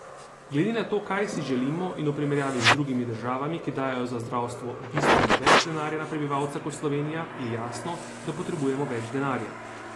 Glede na to, kaj si želimo, in v primerjavi z drugimi državami, ki dajejo za zdravstvo bistveno več denarja na prebivalca kot Slovenija, je jasno, da potrebujemo več denarja.